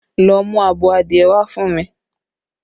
Go and get me a fowl!